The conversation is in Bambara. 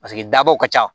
Paseke dabaw ka ca